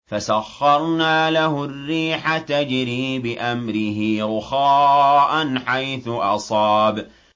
فَسَخَّرْنَا لَهُ الرِّيحَ تَجْرِي بِأَمْرِهِ رُخَاءً حَيْثُ أَصَابَ